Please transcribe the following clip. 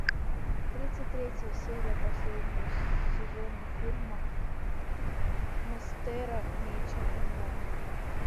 тридцать третья серия последнего сезона фильма мастера меча онлайн